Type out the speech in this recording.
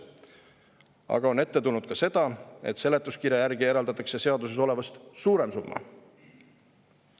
Aga on ette tulnud ka seda, et seletuskirja järgi eraldatakse seaduses olevast suurem summa.